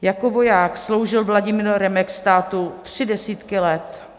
Jako voják sloužil Vladimír Remek státu tři desítky let.